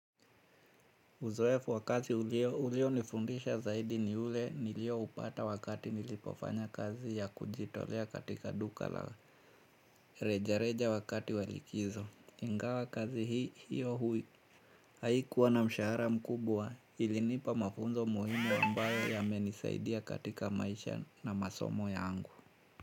Uzoefu wa kazi ulio nifundisha zaidi ni ule nilioupata wakati nilipoofanya kazi ya kujitolea katika duka la reja reja wakati wa likizo ingawa kazi hiyo haikuwa na mshahara mkubwa ilinipa mafunzo muhimu ambayo yamenisaidia katika maisha na masomo yangu.